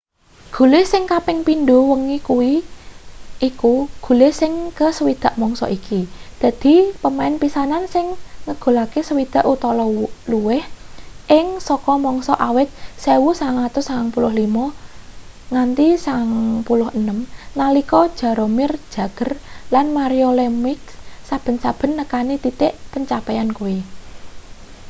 gule sing kaping pindho wengi kuwi iku gule sing ke 60 mangsa iki dadi pemain pisanan sing ngegulake 60 utawa luwih ing sak mangsa awit 1995-96 nalika jaromir jagr lan mario lemieux saben-saben nekani titik pencapaian kuwi